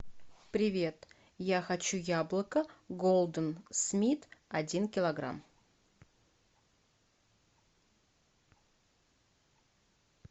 привет я хочу яблоко голден смит один килограмм